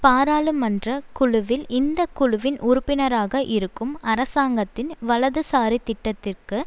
பாராளுமன்ற குழுவில் இந்த குழுவின் உறுப்பினராக இருக்கும் அரசாங்கத்தின் வலதுசாரி திட்டத்திற்கு